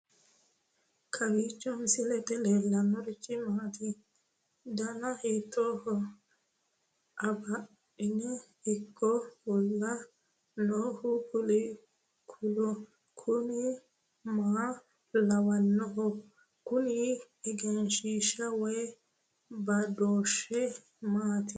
kowiicho misilete leellanorichi maati ? dana hiittooho ?abadhhenni ikko uulla noohu kuulu kuni maa lawannoho? kuni egenshshiisha woy badooshshe maati